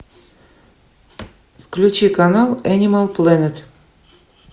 включи канал энимал плэнет